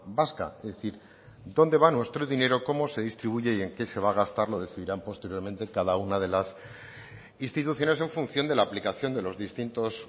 vasca es decir dónde va nuestro dinero cómo se distribuye y en qué se va a gastar lo decidirán posteriormente cada una de las instituciones en función de la aplicación de los distintos